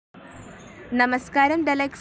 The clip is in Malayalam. നമസ്ക്കാരം ദലക്സ് .